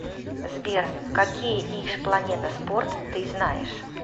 сбер какие иж планета спорт ты знаешь